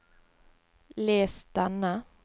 les denne